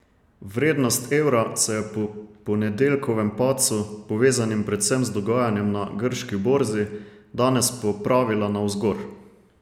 Vrednost evra se je po ponedeljkovem padcu, povezanim predvsem z dogajanjem na grški borzi, danes popravila navzgor.